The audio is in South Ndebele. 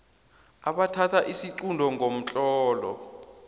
abathatha isiqunto ngomtlolo